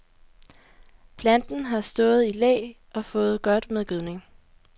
Planten har stået i læ og fået godt med gødning.